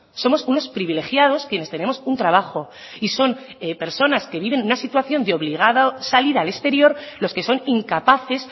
somos unos privilegiados quienes tenemos un trabajo y son personas que viven una situación de obligada salida al exterior los que son incapaces